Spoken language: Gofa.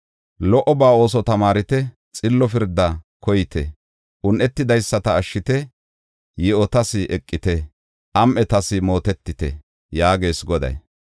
Lo77oba ooso tamaarite; xillo pirdaa koyite. Un7etidaysata ashshite; yi7otas eqite; am7etas mootetite” yaagees Goday.